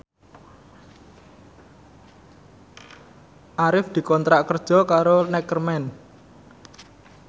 Arif dikontrak kerja karo Neckerman